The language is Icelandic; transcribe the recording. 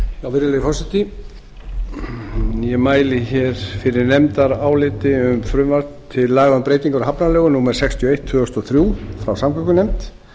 virðulegi forseti ég mæli fyrir nefndaráliti um frumvarp til laga um breytingu á hafnalögum númer sextíu og eitt tvö þúsund og þrjú frá samgöngunefnd